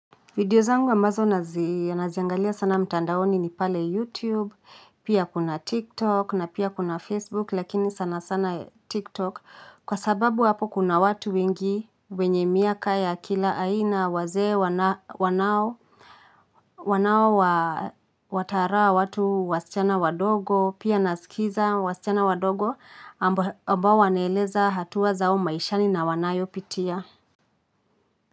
Video zangu ambazo naziangalia sana mtandaoni ni pale YouTube pia kuna Tiktok na pia kuna Facebook lakini sana sana Tiktok kwa sababu apo kuna watu wengi wenye miaka ya kila aina wazee wanao wanao wataraa watu wasichana wadogo, pia nasikiza wasichana wadogo ambao wanaeleza hatua zao maishani na wanayo pitia.